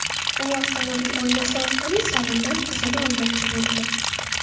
U avtomobil oynasi orqali salondan qizini olmoqchi bo‘lgan.